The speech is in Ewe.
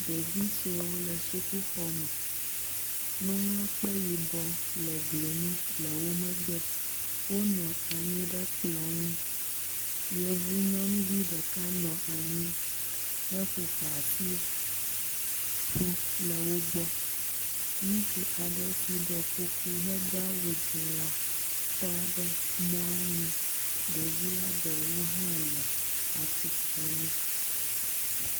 Ɖevi suewo le sukuxɔme. Nuŋlɔkpe yibɔ le gli nu le wo megbe. Wonɔ anyi ɖe kplɔ ŋu. yevu nyɔnuvi ɖeka nɔ anyi heƒoƒo asi ƒu le wo gbɔ. Ŋutsu aɖe si ɖɔ kuku hedo awu dzi la tɔ ɖe mɔa nu. Ɖevia ɖewo hã le atistre nu.